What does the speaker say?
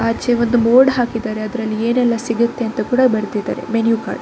ಆಚೆ ಒಂದು ಬೋರ್ಡ್ ಹಾಕಿದ್ದಾರೆ ಅದರಲ್ಲಿ ಏನೆಲ್ಲಾ ಸಿಗುತ್ತೆ ಅಂತ ಕೂಡ ಬರೆದಿದ್ದಾರೆ ಮೆನು ಕಾರ್ಡ್ --